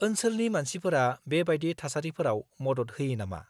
-ओनसोलनि मानसिफोरा बे बायदि थासारिफोराव मदद होयो नामा?